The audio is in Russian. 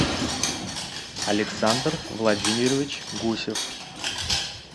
александр владимирович гусев